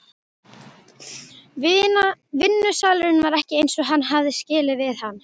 Vinnusalurinn var ekki eins og hann hafði skilið við hann.